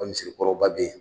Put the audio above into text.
O misirikɔrɔba bɛ yen.